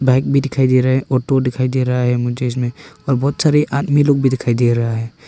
Bike दिखाई दे रहा है ऑटो दिखाई दे रहा है मुझे इसमें और बहुत सारे आदमी लोग भी दिखाई दे रहा है।